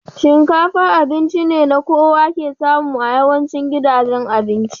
Shinkafa abinci ne na kowa ke samu a yawancin gidajen abinci.